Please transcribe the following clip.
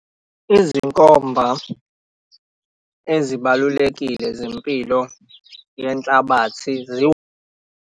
Izinkomba ezibalulekile zempilo yenhlabathi .